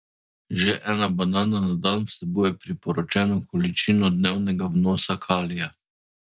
Že ena banana na dan vsebuje priporočeno količino dnevnega vnosa kalija!